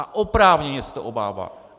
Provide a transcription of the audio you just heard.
A oprávněně se ho obává.